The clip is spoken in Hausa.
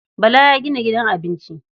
Bala ya gina gidan abinci.